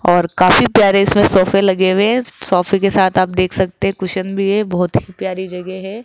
और काफी प्यारे इसमें सोफे लगे हुए है सोफे के साथ आप देख सकते है कुशन भी है बहोत ही प्यारी जगह है।